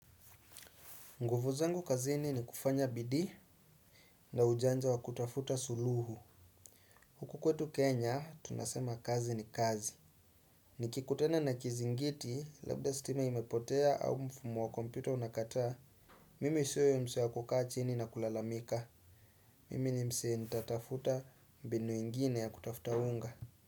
Nguvu zangu kazini ni kufanya bidii na ujanja wa kutafuta suluhu. Huku kwetu Kenya, tunasema kazi ni kazi. Nikikutana na kizingiti, labda stima imepotea au mfumo wa kompyuta unakataa, mimi siyo huyo msee wa kukaa chini na kulalamika. Mimi ni msee nitatafuta mbinu ingine ya kutafuta unga.